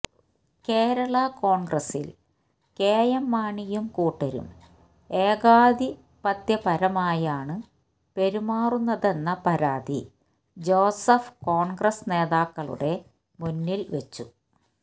കേരള കോണ്ഗ്രസില് കെഎം മാണിയും കൂട്ടരും ഏകാധിപത്യപരമായാണ് പെരുമാറുന്നതെന്ന പരാതി ജോസഫ് കോണ്ഗ്രസ് നേതാക്കളുടെ മുന്നില് വച്ചു